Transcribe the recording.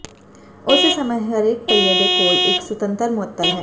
ਉਸੇ ਸਮੇਂ ਹਰੇਕ ਪਹੀਏ ਦੇ ਕੋਲ ਇੱਕ ਸੁਤੰਤਰ ਮੁਅੱਤਲ ਹੈ